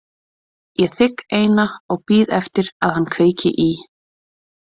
Ég þigg eina og bíð eftir að hann kveiki í.